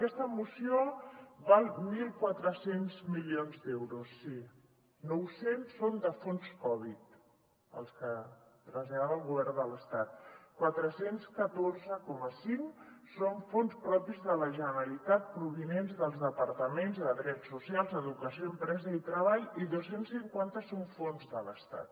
aquesta moció val mil quatre cents milions d’euros sí nou cents són de fons covid els que tras·llada el govern de l’estat quatre cents i catorze coma cinc són fons propis de la generalitat provinents dels de·partaments de drets socials educació empresa i treball i dos cents i cinquanta són fons de l’estat